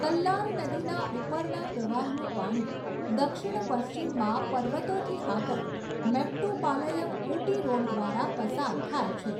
કલ્લાર નદીના ઉપરના પ્રવાહનું પાણી દક્ષિણ પશ્ચિમમાં પર્વતોથી આગળ મેટ્ટુપાલયમ ઊટી રોડ દ્વારા પસાર થાય છે.